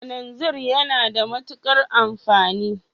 Kalanzir yana da matuƙar amfani